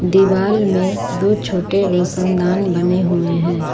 दीवाल में दो छोटे रोशनदान बने हुए हैं।